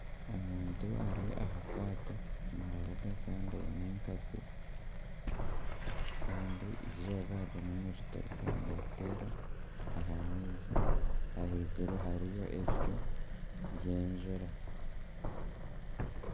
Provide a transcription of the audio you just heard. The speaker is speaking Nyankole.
Omuntu ari aha kaato navuga kandi aine ekatsi kandi eizooba ririmu nirituruka niriteera aha maizi ahaiguru hariyo ebicu by'enjura.